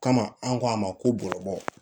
Kama an ko a ma ko bɔgɔ